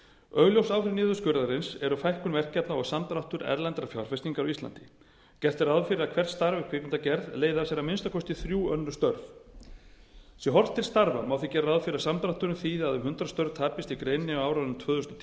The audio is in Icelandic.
augljós áhrif niðurskurðarins eru fækkun verkefna og samdráttur erlendrar fjárfestingar á íslandi gert er ráð fyrir að hvert starf í kvikmyndagerð leiði af sér að minnsta kosti þrjú önnur störf sé horft til starfa má því gera ráð fyrir að samdrátturinn þýði að um hundrað störf tapist í greininni á árunum tvö þúsund og